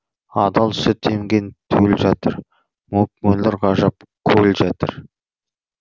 адал сүт емген төл жатыр мөп мөлдір ғажап көл жатыр